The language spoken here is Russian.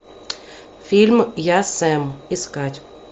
фильм я сэм искать